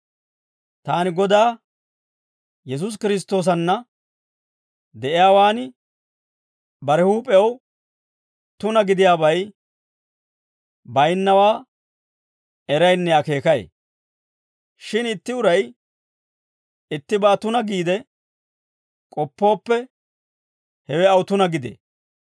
Taani Godaa Yesuusi Kiristtoosanna de'iyaawaan, bare huup'ew tuna gidiyaabay baynnawaa eraynne akeekay. Shin itti uray ittibaa tuna giide k'oppooppe, hewe aw tuna gidee.